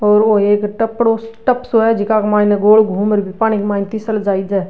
और ओ एक टपरों टप सो है जेका के माइन गोल घूम र --